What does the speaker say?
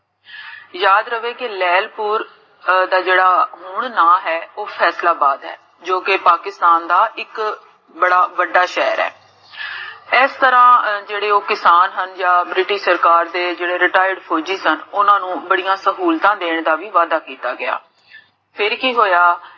ਜੋ ਕੇ ਪਾਕਿਸਤਾਨ ਦਾ ਇਕ ਬੜਾ ਵੱਡਾ ਸ਼ੇਹਰ ਹੈ ਇਸ ਤਰਹ ਜੇਹੜੇ ਓਹ ਕਿਸਾਨ ਹਨ, British ਸਰਕਾਰ ਦੇ retired ਫੋਜੀ ਸਨ, ਓਨ੍ਨਾ ਨੂੰ ਬੜੀਆਂ ਸਹੂਲਤਾਂ ਦੇਣ ਦਾ ਵਾਦਾ ਕੀਤਾ ਗਿਆ ਫਿਰ ਕੀ ਹੋਇਆ,